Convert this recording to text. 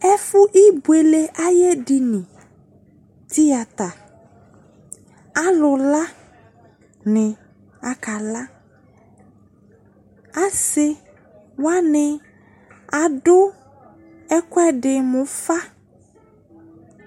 Ɛfo ibuele aye dini ,tiyata Alu la ne aka laAse wane ado ɛluɛde mo ufa